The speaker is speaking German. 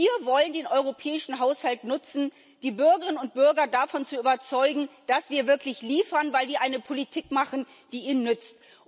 Wir wollen den europäischen Haushalt nutzen, um die Bürgerinnen und Bürger davon zu überzeugen, dass wir wirklich liefern, weil wir eine Politik machen, die ihnen nützt.